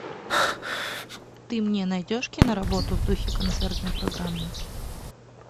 ты мне найдешь киноработу в духе концертной программы